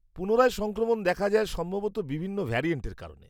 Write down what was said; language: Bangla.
পুনরায় সংক্রমণ দেখা যায় সম্ভবত বিভিন্ন ভ্যারিয়েন্টের কারণে।